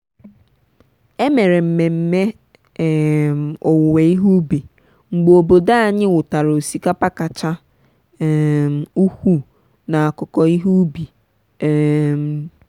e mere mmemme um owuwe ihe ubi mgbe obodo anyị wutara osikapa kacha um ukwuu n'akụkọ ihe ubi. um